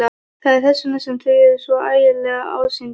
Það er þess vegna sem þau eru svo ægileg ásýndum.